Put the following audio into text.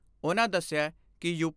ਉਨ੍ਹਾਂ ਦਸਿਐ ਕਿ ਯੂ.